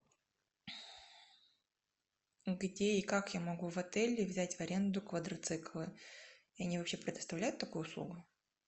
где и как я могу в отеле взять в аренду квадроциклы и они вообще предоставляют такую услугу